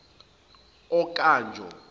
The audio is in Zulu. okanjo